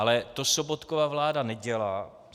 Ale to Sobotkova vláda nedělá.